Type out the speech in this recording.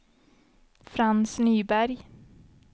Frans Nyberg